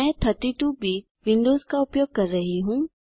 मैं 32 bit Windows का उपयोग कर रहा हूँ